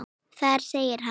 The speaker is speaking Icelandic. Þar segir hann